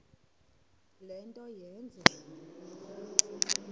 le nto yenze